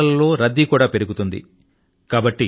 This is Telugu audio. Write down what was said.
వైద్యశాలల లో రద్దీ కూడా పెరుగుతుంది